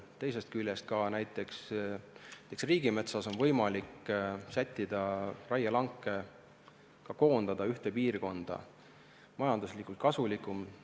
Teisest küljest on näiteks riigimetsas võimalik raielanke sättida, koondada ühte piirkonda, et oleks majanduslikult kasulikum.